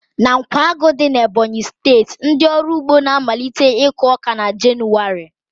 Na Nkwágu dị na Ebọnyi steeti, ndị ọrụ ugbo na-amalite iku ọka na Jenụwarị